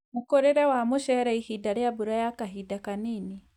Mũkũrĩre wa mũcere ihinda rĩa mbura ya kahinda kanini